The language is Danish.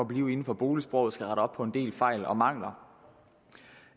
blive inden for boligsproget skal rette op på en del fejl og mangler